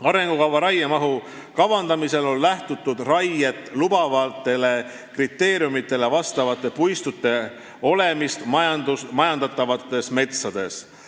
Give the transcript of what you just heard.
Arengukava raiemahu kavandamisel on lähtutud raiet lubavatele kriteeriumidele vastavate puistute olemist majandatavates metsades.